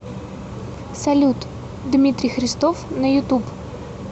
салют дмитрий христов на ютуб